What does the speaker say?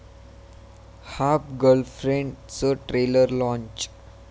half गर्लफ्रेंड'चं trailer launch